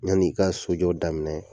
Yan'i ka sojɔ daminɛ